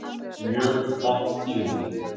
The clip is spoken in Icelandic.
Mjög vond tíðindi